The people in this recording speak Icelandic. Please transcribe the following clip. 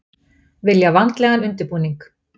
Vilja vandlegan undirbúning